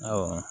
Awɔ